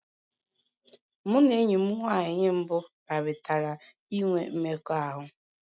Mụ na enyi m nwanyị mbụ kparịtara inwe mmekọahụ.